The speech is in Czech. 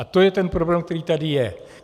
A to je ten problém, který tady je.